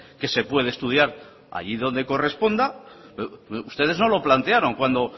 que se puede estudiar allí donde corresponda pero ustedes no lo plantearon cuando